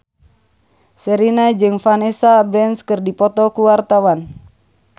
Sherina jeung Vanessa Branch keur dipoto ku wartawan